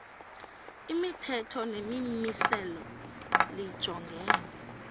imithetho nemimiselo lijongene